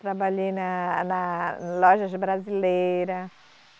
Trabalhei na, na lojas brasileira.